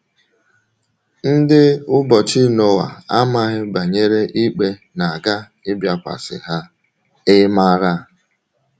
Ndị ụbọchị Noa amaghị banyere ikpe na - aga ịbịakwasị ha — ị̀ maara?